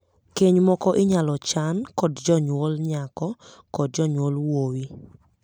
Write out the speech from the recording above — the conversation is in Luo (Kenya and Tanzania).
Keny moko inyal chan kod jonyuol nyako kod jonyuol wuowi.